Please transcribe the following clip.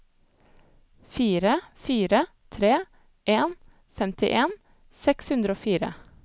fire fire tre en femtien seks hundre og fire